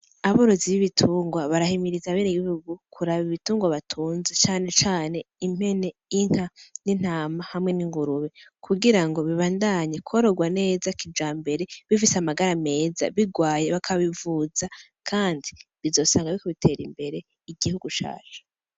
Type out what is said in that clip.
Aborozi b'ibitungwa barahimiriza abenegihugu kuraba ibitungwa batunze cane cane impene, inka n'intama hamwe n'ingurube. Kugira ngo bibandanye kororwa neza kijambere ,bifise amagara meza bigwaye bakabivuza kandi bizosanga biriko biteza imbere igihugu cacu.